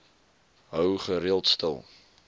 hou gereeld stil